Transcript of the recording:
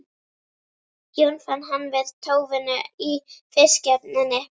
Jón fann hann við tóvinnu í fiskihöfninni.